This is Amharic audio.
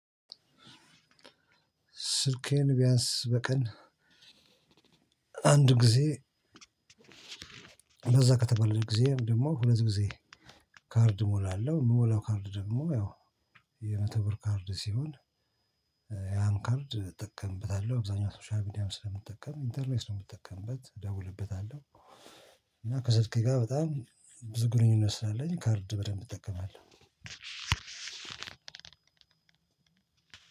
ስልኬን ብያንስ በቀን አንድ ጊዜ በዛ ከተበለም ደግሞ ሁለት ጊዜ ከርድ እሞላለሁ። ያን ካርድ እጠቀምበታለሁ አብዛኛው ሶሻል ሚዲያም ስለምትጠቀም ኢንተርኔት ስለምጠቀምበት እደውልበታለሁ እና ከስልኬ ጋር በጣም ብዙ ግንኙነት ስላለኝ ካርድ በደንብ እጠቀማለሁ።